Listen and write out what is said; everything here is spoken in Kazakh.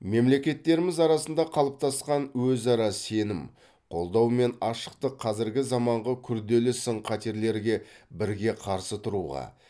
мемлекеттеріміз арасында қалыптасқан өзара сенім қолдау мен ашықтық қазіргі заманғы күрделі сын қатерлерге бірге қарсы тұруға